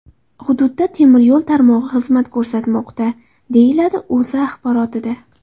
Hududda temir yo‘l tarmog‘i xizmat ko‘rsatmoqda”, deyiladi O‘zA axborotida.